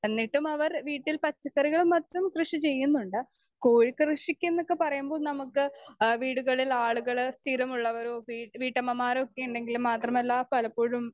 speaker 2 എന്നിട്ടുമവർ വീട്ടിൽ പച്ചക്കറികളും മറ്റും കൃഷി ചെയ്യുന്നുണ്ട്.കോഴി കൃഷിക്കെന്നൊക്കെ പറയുമ്പോൾ നമുക്ക് അ വീടുകളിൽ ആളുകളെ സ്ഥിരം ഉള്ളവരോ വി വീട്ടമ്മമാരൊക്കെയുണ്ടെങ്കിൽ മാത്രമല്ല പലപ്പോഴും